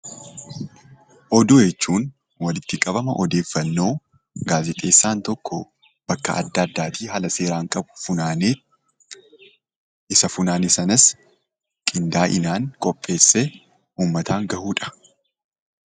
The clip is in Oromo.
Oduu jechuun walitti qabama oddeeffannoo gaazixeessaan tokko bakka adda addaatii funaanee isa funaane sanas haala addaan qinda'inaan qopheese uummata biraan gahuudha.